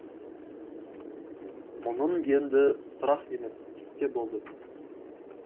мұның енді сұрақ емес пісте болды